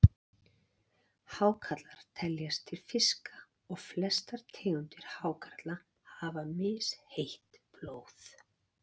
Hákarlar teljast til fiska og flestar tegundir hákarla hafa misheitt blóð.